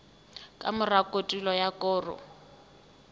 ka mora kotulo ya koro